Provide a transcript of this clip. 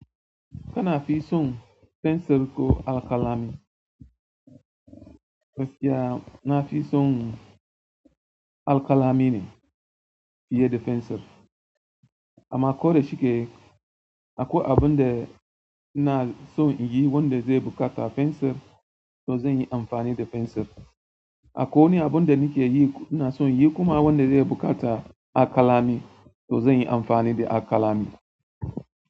Kana fi son fensir ko alkalami? Yana fi son alkalami ne fiye da fensir. Amma ko da shike akwai abun da na son yi wanda zai buƙata fensir, to zan yi amfani da fensir. Akwai wani abun da nakeyi ko ina son yi kuma wanda zai bukata alkalami to zanyi amfani da alkalami.